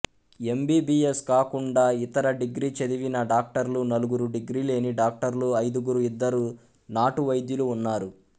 MBBS కాకుండా ఇతర degree చదివిన డాక్టర్లు నలుగురు డిగ్రీ లేని డాక్టర్లు ఐదుగురు ఇద్దరు నాటు వైద్యులు ఉన్నారు